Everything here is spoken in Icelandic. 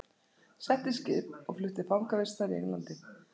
Sett í skip og flutt til fangavistar í Englandi!